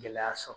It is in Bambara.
Gɛlɛya sɔrɔ